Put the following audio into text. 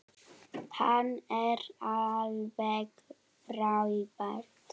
Hann er alveg frábær.